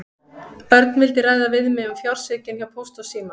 Örn vildi ræða við mig um fjársvikin hjá Pósti og síma.